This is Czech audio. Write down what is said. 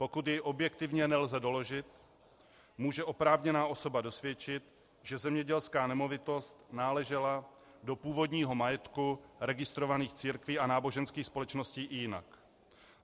Pokud je objektivně nelze doložit, může oprávněná osoba dosvědčit, že zemědělská nemovitost náležela do původního majetku registrovaných církví a náboženských společností i jinak.